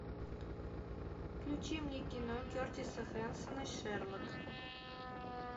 включи мне кино кертиса хэнсона шерлок